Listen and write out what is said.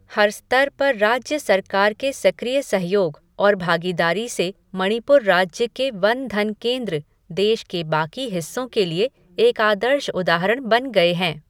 हर स्तर पर राज्य सरकार के सक्रिय सहयोग और भागीदारी से मणिपुर राज्य के वन धन केंद्र, देश के बाकी हिस्सों के लिए एक आदर्श उदाहरण बन गए हैं।